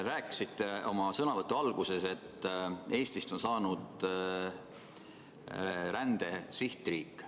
Rääkisite oma sõnavõtu alguses, et Eestist on saanud rände sihtriik.